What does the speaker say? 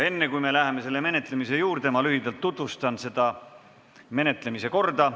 Enne, kui me läheme selle menetlemise juurde, tutvustan lühidalt menetlemise korda.